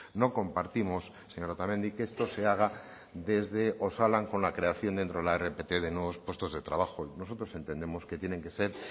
no compartimos señora otamendi que esto se haga desde osalan con la creación dentro de la rpt de nuevos puestos de trabajo nosotros entendemos que tienen que ser